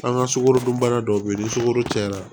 An ka sukorodunbana dɔw be yen ni sukaro cayara